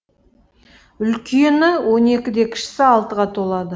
үлкені он екіде кішісі алтыға толады